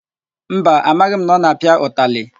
Mba, amaghị m na ọ na-apịa ụtalị.